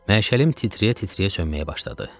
Məşəlim titrəyə-titrəyə sönməyə başladı.